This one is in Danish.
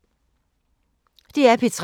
DR P3